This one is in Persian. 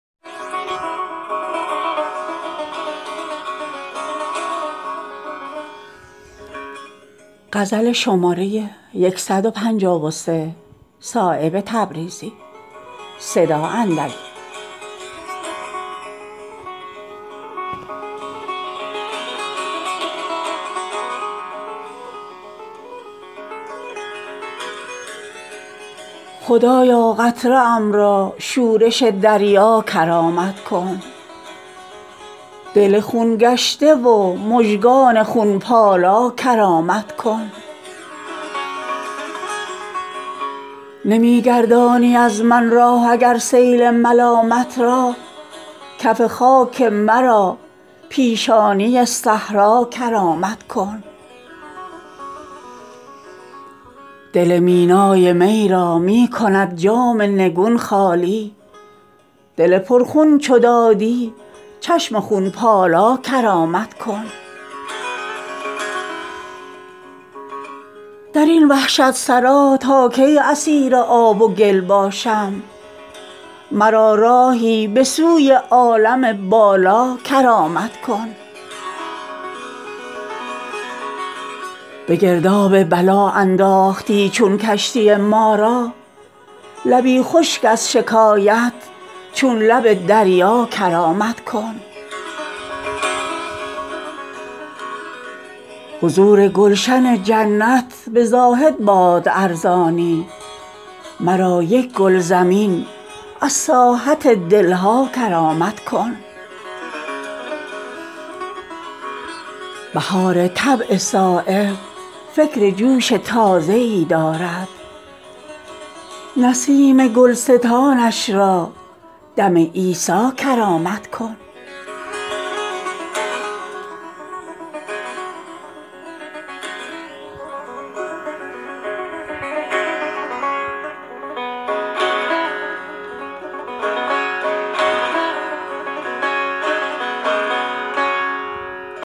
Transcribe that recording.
خدایا قطره ام را شورش دریا کرامت کن دل خون گشته و مژگان خونپالا کرامت کن نمی گردانی از من راه اگر سیل ملامت را کف خاک مرا پیشانی صحرا کرامت کن جنون من به داغ ریزه انجم نمی سازد مرا چون مهر یک داغ جهان آرا کرامت کن دل مینای می را می کند جام نگون خالی دل پر خون چو دادی چشم خون پالا کرامت کن درین وحشت سرا تا کی اسیر آب و گل باشم مرا راهی به سوی عالم بالا کرامت کن به گرداب بلا انداختی چون کشتی ما را لبی خشک از شکایت چون لب دریا کرامت کن مرا هر روز چون خورشید قرصی در کنار افکن نمی گویم به من رزق مرا یکجا کرامت کن ز سودای محبت هیچ کس نقصان نمی بیند دل و دستی مرا یارب درین سودا کرامت کن نظر بینا چو شد خضرست هر گرد سبکسیری من گم کرده ره را دیده بینا کرامت کن دل خود می خورد سیلاب چون جایی گره گردد زبان شکوه ام را قوت انشا کرامت کن حضور گلشن جنت به زاهد باد ارزانی مرا یک گل زمین از ساحت دلها کرامت کن دو شاهد چون دو بال و پر بود شهباز معنی را زبان آتشین دادی ید بیضا کرامت کن بهار طبع صایب فکر جوش تازه ای دارد نسیم گلستانش را دم عیسی کرامت کن